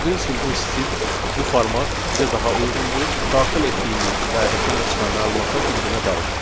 Gördüyünüz kimi bu stil və bu format bizə daha uyğundur, daxil etdiyimiz və ekrana çıxan məlumatlar bir-birinə qarışmır.